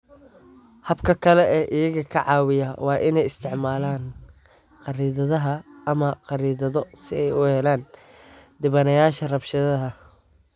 Habka kale ee iyaga ka caawiya waa inay isticmaalaan Khariidadaha ama 'Khariidado' si ay u helaan dhibanayaasha rabshadaha.